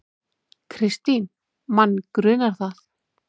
Kristín: Mann grunar það.